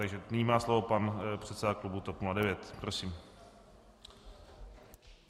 Takže nyní má slovo pan předseda klubu TOP 09, prosím.